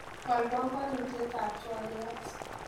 Wal banganutietab twoliot